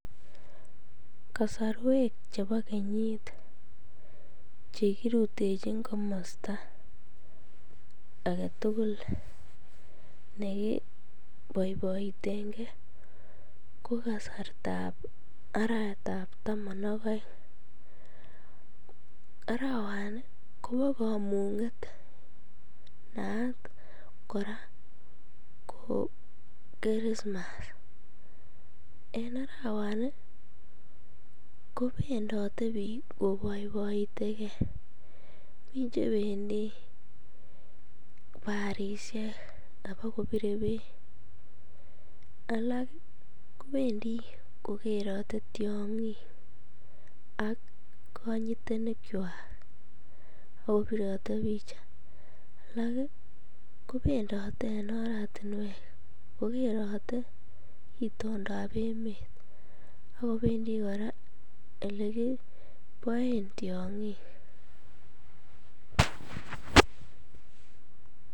Kasorwek chebo kenyit chekirutechin komosto aketukul nekiboiboitenge ko kasrtab arawetab taman ak oeng, arawani kobo komunget naat kora ko kirismas, en arawani kobendote biik koboiboiteke, mii chebendi barishek kibokobire beek alak kobendi kokerote tiong'ik ak konyitenikwak oo birote picha, alak kobendote en oratinwek kokerote itondab emet ak kobendi kora elekiboen tiong'ik.